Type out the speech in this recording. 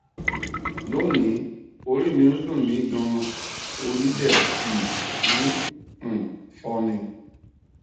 lónìí orí mi ń dunmi ganan ori de um n um fo mi